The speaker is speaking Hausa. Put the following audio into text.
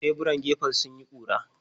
Teburan gefen sun yi ƙura.